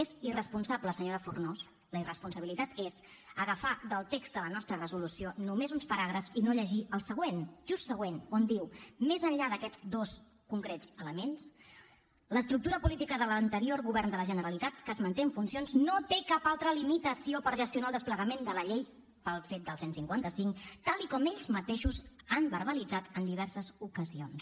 és irresponsable senyora fornós la irresponsabilitat és agafar del text de la nostra resolució només uns paràgrafs i no llegir el següent just següent on diu més enllà d’aquests dos concrets elements l’estructura política de l’anterior govern de la generalitat que es manté en funcions no té cap altra limitació per gestionar el desplegament de la llei pel fet del cent i cinquanta cinc tal com ells mateixos han verbalitzat en diverses ocasions